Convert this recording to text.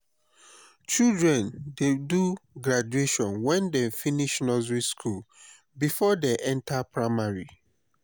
children dey do graduation wen dem finish nursey skool before dey enta primary.